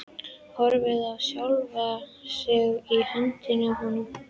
Horfir á sjálfa sig í höndunum á honum.